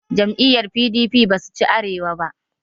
Jam'iyar P.d.p ba su ci Arewa ba